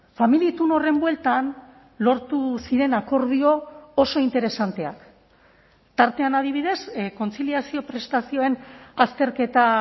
familia itun horren bueltan lortu ziren akordio oso interesanteak tartean adibidez kontziliazio prestazioen azterketa